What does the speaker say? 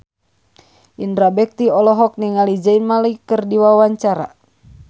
Indra Bekti olohok ningali Zayn Malik keur diwawancara